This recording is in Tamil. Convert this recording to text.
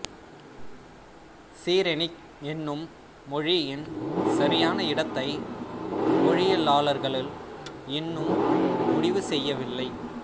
சிரெனிக் என்னும் மொழியின் சரியான இடத்தை மொழியியலாளர்கள் இன்னும் முடிவு செய்யவில்லை